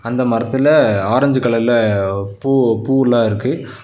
இந்த மரத்துல ஆரஞ்சு கலர்ல பூ பூல்லா இருக்கு.